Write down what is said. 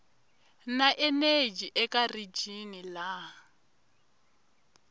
na eneji eka rijini laha